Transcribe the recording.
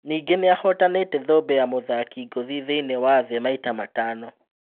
Ningĩ nĩ ahotanĩ te thũmbĩ ya mũthaki ngũthi thĩ iniĩ wa thĩ maita matano